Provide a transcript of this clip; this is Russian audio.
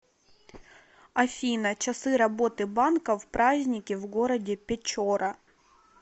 афина часы работы банка в праздники в городе печора